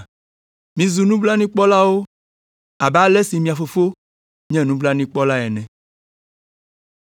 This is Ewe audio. “Mizu nublanuikpɔlawo abe ale si mia Fofo hã nye nublanuikpɔla ene.